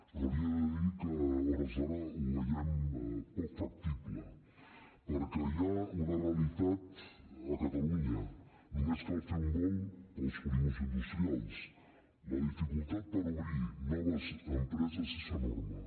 però li he de dir que a hores d’ara ho veiem poc factible perquè hi ha una realitat a catalunya només cal fer un volt pels polígons industrials la dificultat per obrir noves empreses és enorme